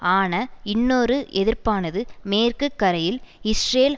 ஆன இன்னொரு எதிர்ப்பானது மேற்கு கரையில் இஸ்ரேல்